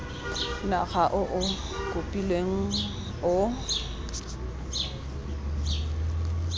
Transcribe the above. naga o o kopilweng o